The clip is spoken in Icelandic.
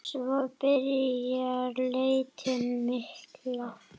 Svo byrjar leitin mikla.